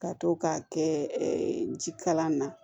Ka to k'a kɛ jikalan na